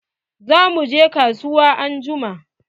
Za mu je kasuwa anjuma.